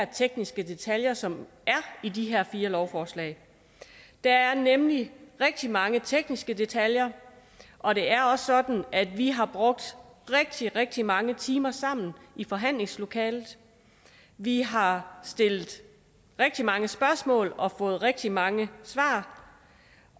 tekniske detaljer som er i de her fire lovforslag der er nemlig rigtig mange tekniske detaljer og det er også sådan at vi har brugt rigtig rigtig mange timer sammen i forhandlingslokalet vi har stillet rigtig mange spørgsmål og fået rigtig mange svar